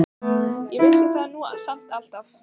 Ég vissi það nú samt alltaf.